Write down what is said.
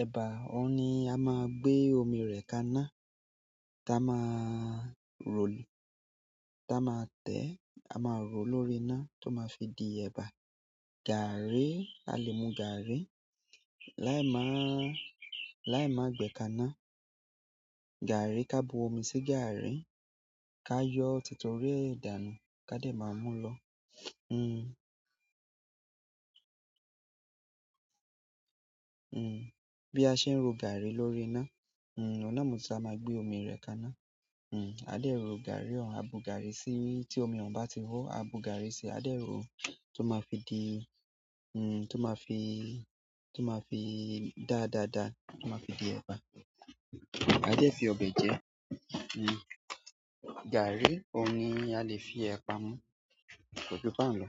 ẹ̀bà, òun ni a máa gbé omi rẹ̀ kaná, táa ma ro-- táa ma tẹ̀, a máa rọ̀ lórí iná tó máa fi di ẹ̀bà. Gààrí, a lè mu gààrí, láì máà, láì máa gbẹ́ kaná. Gààrí, ká bu omi sí gààrí, ká yọ́ títí orí e dánu, ká dé máa mú lọ. Bí a ṣe ń ro gààrí lórí iná, oun náà mo ti to a maa gbé omi rẹ̀ kaná. A dé ro gààrí òun, a bu gààrí sí i, tí omi òun bá ti họ́, a bu gààrí sí i, a dé ro ó, tó máa fi di, nn tó máa fi, tó máa fi dá dáa dáa, tó máa fi di ẹ̀bà. A dẹ́ fi ọbẹ̀ jẹ. Gààrí, òun ni a lè fi ẹ̀pà mú, ko ju ba un lọ.